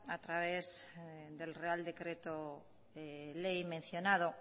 a través del real decreto ley mencionado